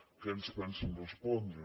què ens pensen respondre